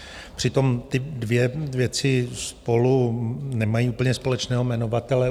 Přitom ty dvě věci spolu nemají úplně společného jmenovatele.